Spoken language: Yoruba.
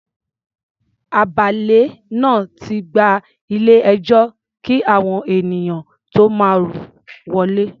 Agbálẹ̀ náà ti gbá ilé-ẹjọ́ kí àwọn ènìyàn tó máa rọ́ wọlé.